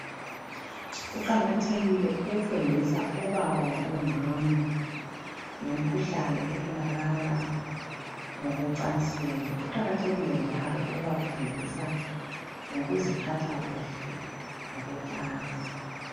kuqakatheklile ukufundisa obaba labo mama ngemikhuhlane etholakala ngokwecansini kuqakathekile njalo ukubafundisa ngokuziphatha kuhle ngokwecansi